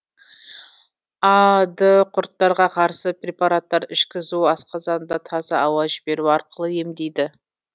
а ды құрттарға қарсы препараттар ішкізу асқазанға таза ауа жіберу арқылы емдейді